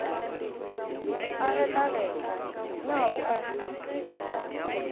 a getlagetla na o a